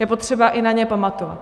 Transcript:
Je potřeba i na ně pamatovat.